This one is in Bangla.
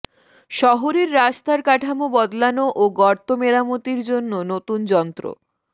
শহরের রাস্তার কাঠামো বদলানো ও গর্ত মেরামতির জন্য নতুন যন্ত্র